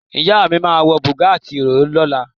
Ìyá mi máa ń wọ bùbá àti ìró lọ ìnáwó.